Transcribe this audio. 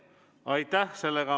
Aitäh!